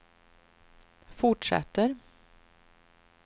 fortsätter